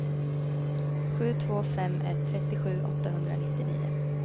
sju två fem ett trettiosju åttahundranittionio